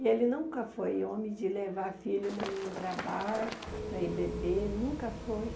E ele nunca foi homem de levar filho nenhum para bar, para ir beber, nunca foi.